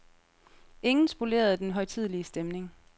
Ingen spolerede den højtidelige stemning.